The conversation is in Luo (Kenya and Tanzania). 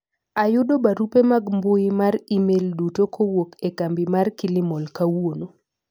ayudo barupe mag mbui mar email duto kowuok e kambi mar kilimall kawuono